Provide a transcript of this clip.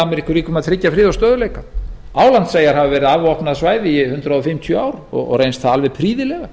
að tryggja frið og stöðugleika álandseyjar hafa verið afvopnað svæði í hundrað fimmtíu ár og reynst það alveg prýðilega